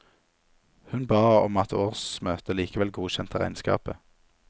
Hun ba om at årsmøtet likevel godkjente regnskapet.